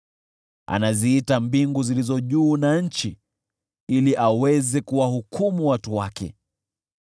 Anaziita mbingu zilizo juu, na nchi, ili aweze kuwahukumu watu wake: